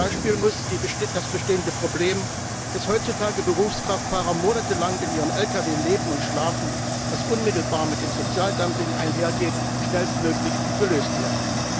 Zum Beispiel muss das bestehende Problem, dass heutzutage Berufskraftfahrer monatelang in ihrem Lkw leben und schlafen, was unmittelbar mit dem Sozialdumping einhergeht, schnellstmöglich gelöst werden.